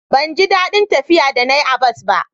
ban ji dadin tafiya da na yi a bas ba